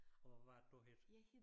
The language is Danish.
Og hvad er det du hedder